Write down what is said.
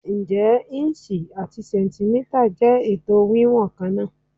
Ǹjẹ́ ìǹṣì àti sẹ̀ǹtímítà jẹ́ ètò wíwọ̀n kan náà?